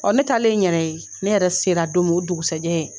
Ɔ ne taalen n yɛrɛ ye ne yɛrɛ sera don min o dugusajɛ